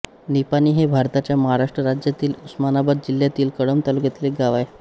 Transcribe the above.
निपाणी हे भारताच्या महाराष्ट्र राज्यातील उस्मानाबाद जिल्ह्यातील कळंब तालुक्यातील एक गाव आहे